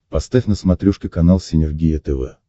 поставь на смотрешке канал синергия тв